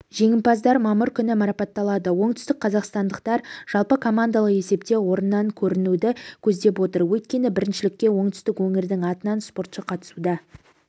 жеңімпаздар мамыр күні марапатталады оңтүстік қазақстандықтар жалпы командалық есепте орыннан көрінуді көздеп отыр өйткені біріншілікке оңтүстік өңірдің атынан спортшы қатысуда